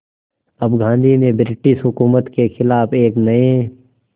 अब गांधी ने ब्रिटिश हुकूमत के ख़िलाफ़ एक नये